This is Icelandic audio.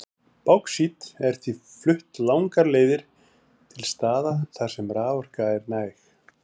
Báxít er því flutt langar leiðir til staða þar sem raforka er næg.